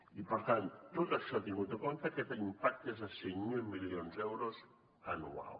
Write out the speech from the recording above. i per tant tot això tingut en compte aquest impacte és de cinc mil milions d’euros anual